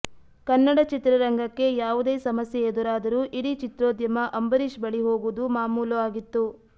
ಕನ್ನಡ ಚಿತ್ರರಂಗಕ್ಕೆ ಯಾವುದೇ ಸಮಸ್ಯೆ ಎದುರಾದರೂ ಇಡೀ ಚಿತ್ರೋದ್ಯಮ ಅಂಬರೀಶ್ ಬಳಿ ಹೋಗುವುದು ಮಾಮೂಲು ಆಗಿತ್ತು